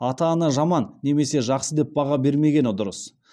ата ана жаман немесе жақсы деп баға бермегені дұрыс